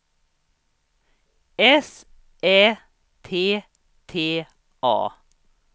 S Ä T T A